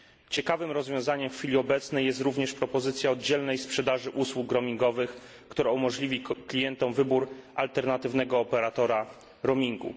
Ciekawym rozwiązaniem w chwili obecnej jest również propozycja oddzielnej sprzedaży usług roamingowych, która umożliwi klientom wybór alternatywnego operatora roamingu.